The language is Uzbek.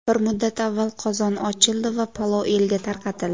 Bir muddat avval qozon ochildi va palov elga tarqatildi.